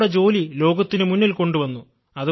നമ്മുടെ ജോലി ലോകത്തിനു മുന്നിൽ കൊണ്ടുവന്നു